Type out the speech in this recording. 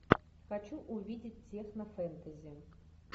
хочу увидеть технофэнтези